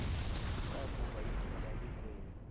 lakuba ixhoba likweli